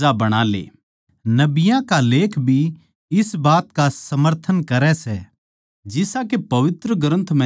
नबियाँ लेख भी इस बात का समर्थन करै सै जिसा के पवित्र ग्रन्थ म्ह लिख्या सै